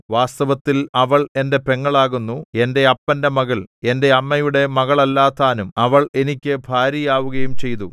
വാസ്തവത്തിൽ അവൾ എന്റെ പെങ്ങളാകുന്നു എന്റെ അപ്പന്റെ മകൾ എന്റെ അമ്മയുടെ മകളല്ല താനും അവൾ എനിക്ക് ഭാര്യയാവുകയും ചെയ്തു